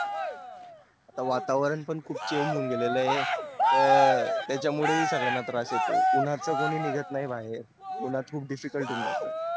आता वातावरण पण खूप change होऊन गेलेल आहे त्याच्या मुळे ही संगल्याना त्रास होतो ऊनहच कोण निघत नाही बाहेर उन्हात खूप difficult होऊन जातो